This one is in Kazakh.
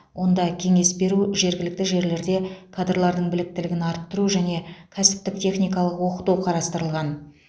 онда кеңес беру жергілікті жерлерде кадрлардың біліктілігін арттыру және кәсіптік техникалық оқыту қарастырылған